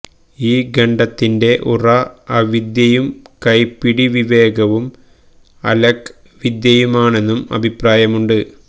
ഈ ഖഡ്ഗത്തിന്റെ ഉറ അവിദ്യയും കൈപ്പിടി വിവേകവും അലക് വിദ്യയുമാണെന്നും അഭിപ്രായമുണ്ട്